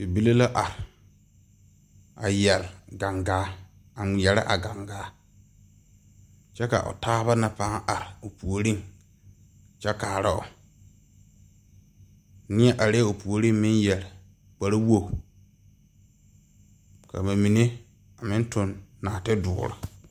Bibile la arẽ a yere gangaa a ngmeɛrɛ a gangaa kye ka ɔ taaba na paa arẽ ɔ poɔring kye kaaroo nie arẽ ɔ poɔring meng yeri kpari wogu ka ba menne a meng tung nuoti duuri.